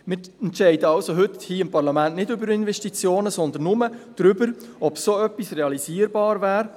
Wir entscheiden also hier und heute im Parlament nicht über Investitionen, sondern nur darüber, ob so etwas realisierbar wäre.